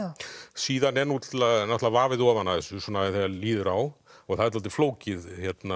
síðan er náttúrulega vafið ofan af þessu þegar líður á og það er dálítið flókið